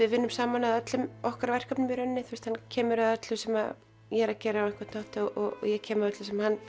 við vinnum saman að öllum okkar verkefnum í rauninni hann kemur að öllu sem ég er að gera á einhvern hátt og ég kem að öllu sem hann